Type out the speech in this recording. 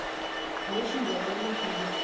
очень голодные игры